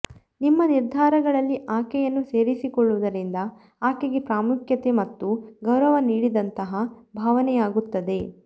ನಿಮ್ಮ ನಿರ್ಧಾರಗಳಲ್ಲಿ ಆಕೆಯನ್ನು ಸೇರಿಸಿಕೊಳ್ಳುವುದರಿಂದ ಆಕೆಗೆ ಪ್ರಾಮುಖ್ಯತೆ ಮತ್ತು ಗೌರವ ನೀಡಿದಂತಹ ಭಾವನೆಯಾಗುತ್ತದೆ